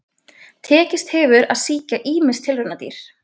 Tekist hefur að sýkja ýmis tilraunadýr.